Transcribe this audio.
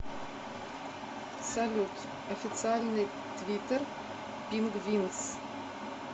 салют официальный твиттер пингвинс